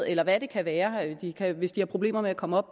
eller hvad det kan være hvis de har problemer med at komme op